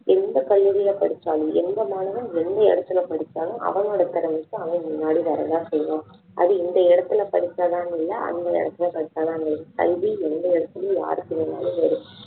எந்த பள்ளிகளில படிச்சாலும் எந்த மாணவன் எந்த இடத்துல படிச்சாலும் அவனோட திறமைக்கு அவன் முன்னாடி வரதான் செய்வான் அது இந்த இடத்தில படிச்சாதான்னு இல்ல அந்த இடத்துல படிச்சாதான்னு இல்ல கல்வி எந்த இடத்துலேயும் யாருக்கு வேணும்னாலும் வரும்